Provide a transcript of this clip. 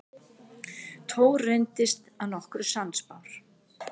Thor reyndist að nokkru sannspár.